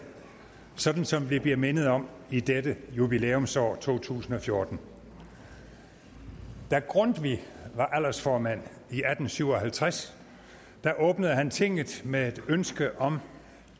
sådan som vi bliver mindet om i dette jubilæumsår to tusind og fjorten da grundtvig var aldersformand i atten syv og halvtreds åbnede han tinget med et ønske om